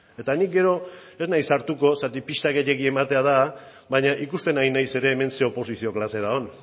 eta ni gero ez naiz sartuko zeren pista gehiegi ematea da baina ikusten ari naiz ere hemen zein oposizio klase dagoen